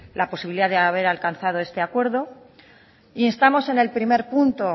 la posibilidad de haber alcanzado este acuerdo instamos en el primer punto